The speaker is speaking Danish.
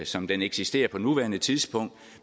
som den eksisterer på nuværende tidspunkt